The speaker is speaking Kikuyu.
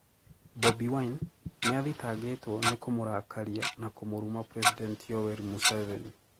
Bobi Wine: Niathitagitwo ni kumurakaria na kumuruma president Yoweri Museveni